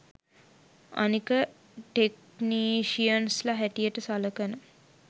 අනික ටෙක්නීෂියන්ස්ල හැටියට සලකන